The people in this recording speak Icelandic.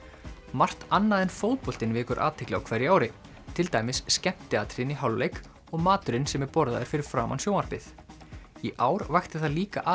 margt annað en fótboltinn vekur athygli á hverju ári til dæmis skemmtiatriðin í hálfleik og maturinn sem borðaður er fyrir framan sjónvarpið í ár vakti það líka